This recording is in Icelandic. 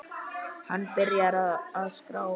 Hann byrjar að skrá.